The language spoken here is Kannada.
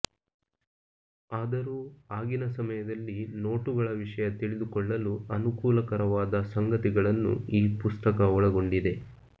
ಆದರೂ ಆಗಿನ ಸಮಯದಲ್ಲಿ ನೋಟುಗಳ ವಿಷಯ ತಿಳಿದುಕೊಳ್ಳಲು ಅನುಕೂಲಕರವಾದ ಸಂಗತಿಗಳನ್ನು ಈ ಪುಸ್ತಕ ಒಳಗೊಂಡಿದೆ